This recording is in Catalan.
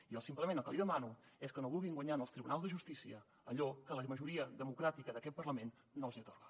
jo simplement el que li demano és que no vulguin guanyar als tribunals de justícia allò que la majoria democràtica d’aquest parlament no els atorga